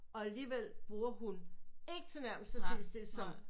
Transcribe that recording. Og alligevel bruger hun ikke tilnærmelsesvis det som